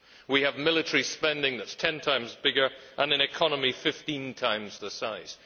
We have military spending that is ten times bigger, and an economy fifteen times the size.